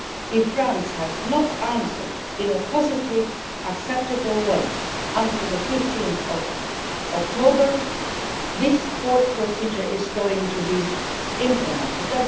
If France has not answered in a positive, acceptable way before 15 October, this court procedure is going to be implemented.